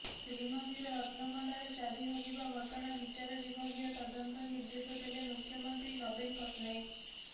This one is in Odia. ଶ୍ରୀମନ୍ଦିର ରତ୍ନଭଣ୍ଡାର ଚାବି ହଜିବା ଘଟଣାର ବିଚାର ବିଭାଗୀୟ ତଦନ୍ତ ନିର୍ଦ୍ଦେଶ ଦେଲେ ମୁଖ୍ୟମନ୍ତ୍ରୀ ନବୀନ ପଟ୍ଟନାୟକ